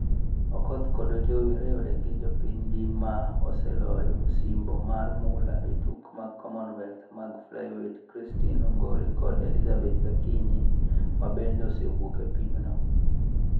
Okoth kod Ajowi riwore gi jopinygi ma oseloyo osimbo mar mula e tuke mag Commonwealth mag flyweight Christine Ongare kod Elizabeth Akinyi, ma bende osewuok e piemno.